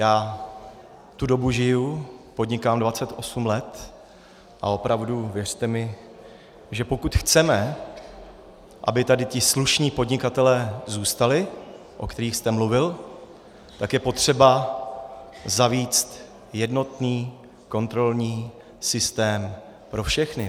Já tu dobu žiju, podnikám 28 let a opravdu, věřte mi, že pokud chceme, aby tady ti slušní podnikatelé zůstali, o kterých jste mluvil, tak je potřeba zavést jednotný kontrolní systém pro všechny.